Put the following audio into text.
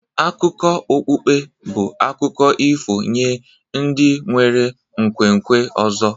Akụkọ okpukpe bụ akụkọ ifo nye ndị nwere nkwenkwe ọzọ